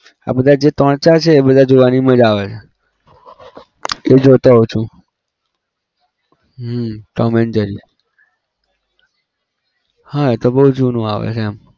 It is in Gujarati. આ બધા જે ત્રણ ચાર છે એ બધા જોવાની મજા આવે છે એ હું જોતો હોવ છું હમ tom and jerry હા એ તો બઉ જુનું આવે છે એમ